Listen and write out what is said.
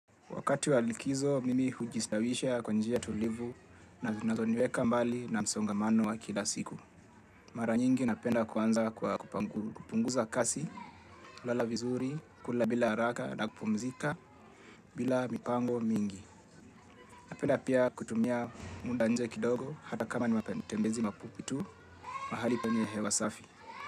Wakati wa likizo, mimi hujistawisha kwa njia tulivu na zinazoniweka mbali na msongamano wa kila siku. Mara nyingi napenda kuanza kwa kupunguza kasi, lala vizuri, kula bila haraka na kupumzika bila mipango mingi. Napenda pia kutumia muda nje kidogo hata kama ni matembezi mafupi tu mahali penye hewa safi.